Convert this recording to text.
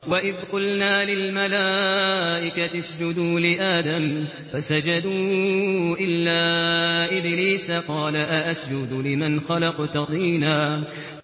وَإِذْ قُلْنَا لِلْمَلَائِكَةِ اسْجُدُوا لِآدَمَ فَسَجَدُوا إِلَّا إِبْلِيسَ قَالَ أَأَسْجُدُ لِمَنْ خَلَقْتَ طِينًا